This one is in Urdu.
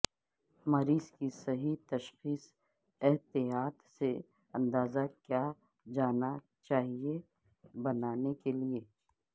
مریض کی صحیح تشخیص احتیاط سے اندازہ کیا جانا چاہئے بنانے کے لئے